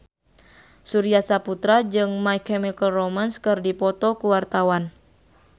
Surya Saputra jeung My Chemical Romance keur dipoto ku wartawan